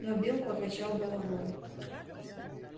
но билл покачал головой